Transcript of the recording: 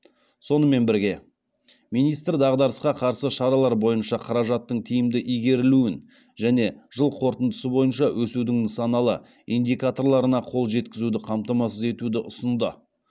сонымен бірге министр дағдарысқа қарсы шаралар бойынша қаражаттың тиімді игерілуін және жыл қорытындысы бойынша өсудің нысаналы индикаторларына қол жеткізуді қамтамасыз етуді ұсынды